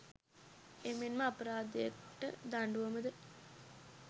එමෙන් ම අපරාධයට දඬුවම ද